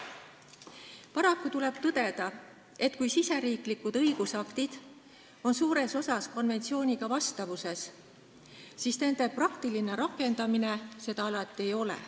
Paraku tuleb tõdeda, et kui riigisisesed õigusaktid on suures osas konventsiooniga vastavuses, siis nende praktiline rakendamine seda alati ei ole.